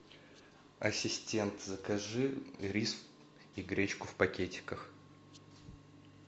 ассистент закажи рис и гречку в пакетиках